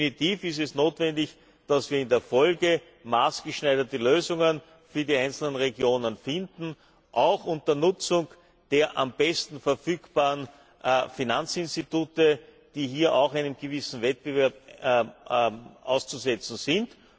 Definitiv ist es notwendig, dass wir in der Folge maßgeschneiderte Lösungen für die einzelnen Regionen finden, auch unter Nutzung der am besten verfügbaren Finanzinstitute, die hier auch einem gewissen Wettbewerb auszusetzen sind.